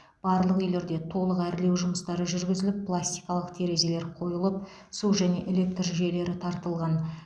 барлық үйлерде толық әрлеу жұмыстары жүргізіліп пластикалық терезелер қойылып су және электр жүйелері тартылған